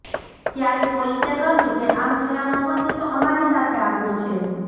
ત્યારે પોલીસે કહ્યું કે આ મહિલાનો પતિ તો અમારી સાથે આવ્યો છે